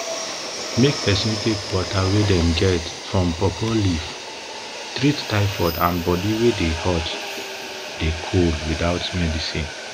make peson take water wey dem get for pawpaw leaf treat tyfod and body wey dey hot dey cold without medicine